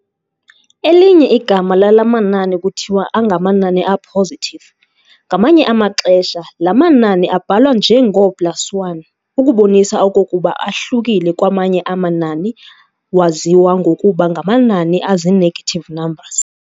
Elinye igama lala manani kuthiwa angamanani a-positive. Ngamanye amaxesha laa manani abhalwa njengoplus1 ukubonisa okokuba ahlukile kwamanye amanani waziwa ngokuba ngamanani azi-negative numbers.